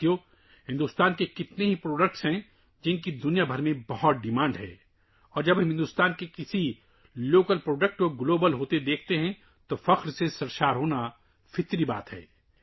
دوستو، بہت ساری ہندوستانی مصنوعات ہیں جن کی پوری دنیا میں بہت مانگ ہے اور جب ہم کسی مقامی ہندوستانی پروڈکٹ کو عالمی سطح پر پہنچتے ہوئے دیکھتےہیں تو فخر سے ہمارا سربلندہو جانا فطری بات ہے